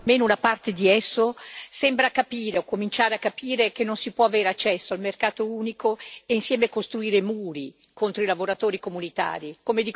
almeno una parte di esso sembra capire o cominciare a capire che non si può avere accesso al mercato unico e insieme costruire muri contro i lavoratori comunitari